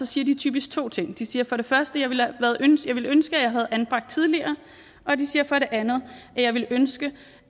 siger de typisk to ting de siger for det første jeg ville ønske at anbragt tidligere og de siger for det andet jeg ville ønske